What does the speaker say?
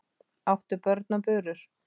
áttu börn og burur